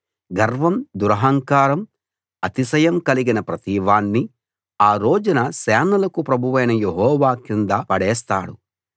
గర్వం దురహంకారం అతిశయం కలిగిన ప్రతివాణ్ణి ఆ రోజున సేనలకు ప్రభువైన యెహోవా కింద పడేస్తాడు